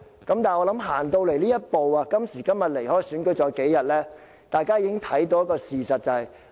但是，我相信來到這一步，今天距離選舉只有數天，大家已看清事實。